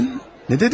Nə dedin?